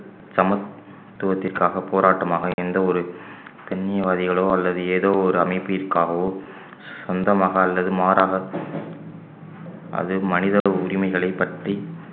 சமத்துவத்திற்காக போராட்டமாக எந்த ஒரு கண்ணியவாதிகளோ அல்லது ஏதோ ஒரு அமைப்பிற்காகவோ சொந்தமாக அல்லது மாறாக அது மனித உரிமைகளைப் பற்றி